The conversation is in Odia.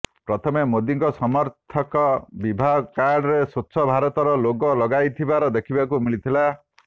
ପ୍ରଥମେ ମୋଦିଙ୍କ ସମର୍ଥକ ବିବାହ କାର୍ଡରେ ସ୍ୱଚ୍ଛ ଭାରତର ଲୋଗୋ ଲଗାଇଥିବାର ଦେଖିବାକୁ ମିଳିଥିଲା